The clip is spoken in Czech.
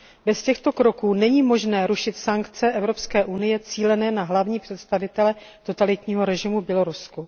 Bez těchto kroků není možné rušit sankce Evropské unie cílené na hlavní představitele totalitního režimu v Bělorusku.